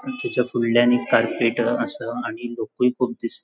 आणि त्याच्या फुड़ल्यान एक कार्पेट आहा आसा आणि लोकुय खूप दिस --